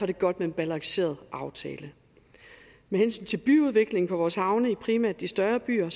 det godt med en balanceret aftale med hensyn til byudvikling på vores havne i primært de større byer